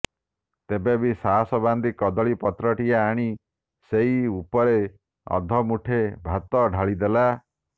ତେବେବି ସାହସ ବାନ୍ଧି କଦଳୀ ପତ୍ରଟିଏ ଆଣି ସେଇ ଉପରେ ଅଧମୁଠେ ଭାତ ଢାଳିଦେଲା